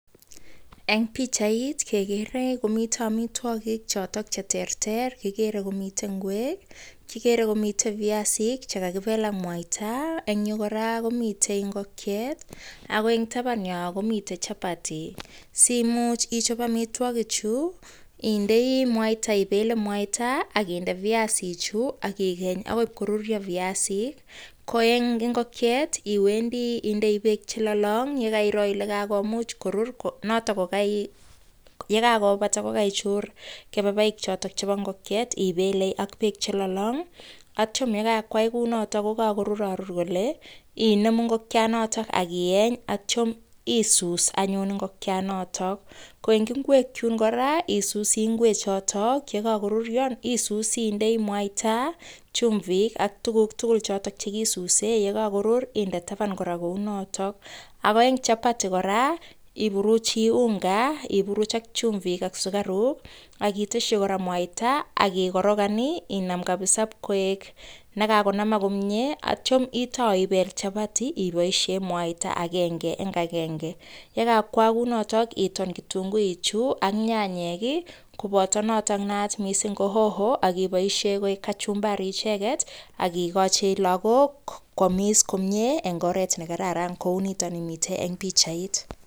Eng pichait kekere komite amitwogik chotok che terter, kikere komite ngwek, kikere komitei viasik che kakibel ak mwaita, eng yu kora komite ingokiet, ako eng taban yo komitei chapati, simuch ichop amitwogichu, indei mwaita ibele mwaita ak inde viasichu ak ikeny akoi ip koruryo viasik, ko eng ingokiet, iwendi indei beek che lolong ye kairo ile kakomuch korur notok ko ye kakobata kokaichur kebebaik chotok chebo ingokiet, ibele ak beek che lolong, atyam ye kakwai ku notok ko kakorurarur kole, inemu ingokianoto ak ieny atyam isus anyun ingokianoto, ko eng ingwek chun kora, isusi ngwechoto ye kakoruryo, isusi indei mwaita, chumvik ak tukuk tugul chotok che kisuse ye kakorur inde taban kora kou notok, ako eng chapati kora iburuchi unga, iburuch ak chumvik ak sukaruk akitesyi kora mwaita ak ikorokan ii inam kabisa pkoek ne kakonamak komie, atyam itau ibel chapati iboisie mwaita akenge eng akenge, ye kakwaak kou notok ii, iton kitunguichu ak nyanyek ii koboto notok naat mising ko hoho akiboisiek koek kachumbari icheket, ak ikochi lagok kwamis komie eng oret ne kararan kou nitoni mitei eng pichait.